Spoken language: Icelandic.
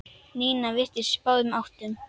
Nína virtist á báðum áttum.